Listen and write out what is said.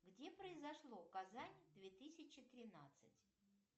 где произошло казань две тысячи тринадцать